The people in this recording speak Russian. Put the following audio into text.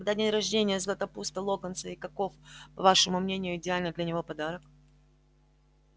когда день рождения златопуста локонса и каков по вашему мнению идеальный для него подарок